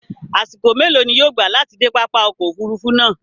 Àṣìkò mẹlọ ni yóò gbà láti de pápá ọkọ̀ òfurufú náá?